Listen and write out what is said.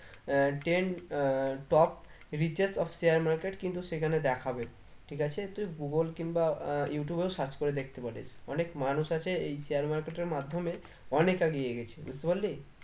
আহ ten আহ top riches of share market কিন্তু সেখানে দেখাবে ঠিক আছে তুই google কিংবা আহ youtube এও search করে দেখতে পারিস অনেক মানুষ আছে এই share market এর মাধ্যমে অনেক আগিয়ে গেছে বুঝতে পারলি?